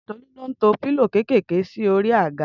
Tolu ló ń tọ pilo kẹkẹkẹ si òrí àgá